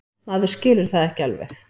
Maður skilur það ekki alveg.